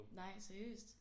Nej seriøst?